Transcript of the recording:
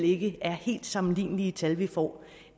ikke er helt sammenlignelige tal vi får